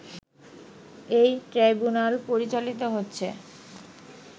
এই ট্রাইব্যুনাল পরিচালিত হচ্ছে